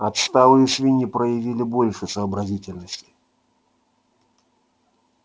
отсталые свиньи проявили больше сообразительности